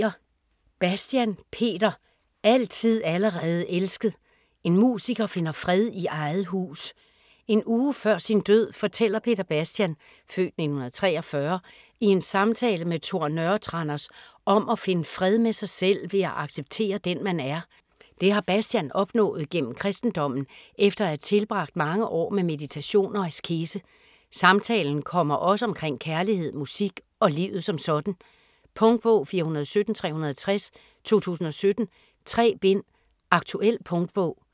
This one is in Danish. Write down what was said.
Bastian, Peter: Altid allerede elsket: en musiker finder fred i eget hus En uge før sin død fortæller Peter Bastian (f. 1943) i en samtale med Tor Nørretranders om at finde fred med sig selv ved at acceptere den man er. Det har Bastian opnået gennem kristendommen efter at have tilbragt mange år med meditation og askese. Samtalen kommer også omkring kærlighed, musik og livet som sådan. Punktbog 417360 2017. 3 bind. Aktuel punktbog